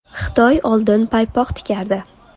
Xitoy oldin paypoq tikardi.